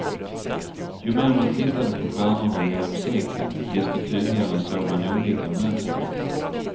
Ju mer man tittade på stjärnorna genom seklen, desto tydligare såg man olika mönster.